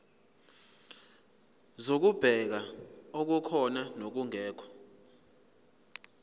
zokubheka okukhona nokungekho